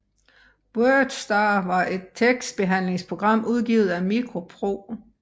WordStar var et tekstbehandlingsprogram udgivet af MicroPro